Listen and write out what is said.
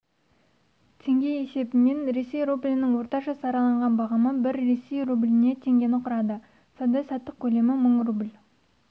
теңге есебімен ресей рублінің орташа сараланған бағамы бір ресей рубліне теңгені құрады сауда-саттық көлемі мың рубль